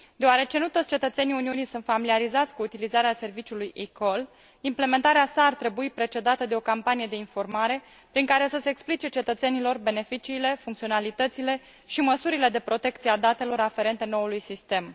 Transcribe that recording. Deoarece nu toți cetățenii Uniunii sunt familiarizați cu utilizarea serviciului eCall, implementarea sa ar trebui precedată de o campanie de informare, prin care să se explice cetățenilor beneficiile, funcționalitățile și măsurile de protecție a datelor aferente noului sistem.